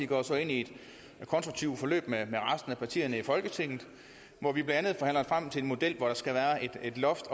går så ind i et konstruktivt forløb med resten af partierne i folketinget hvor vi blandt andet frem til en model hvor der skal være et loft